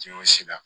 Tiɲɛ sera